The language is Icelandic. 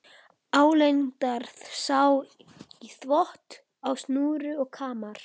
Álengdar sá í þvott á snúru og kamar.